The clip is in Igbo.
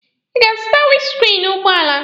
Ị ga-azụta winiskriini ụgbọala?